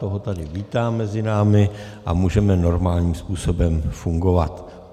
Toho tady vítám mezi námi a můžeme normálním způsobem fungovat.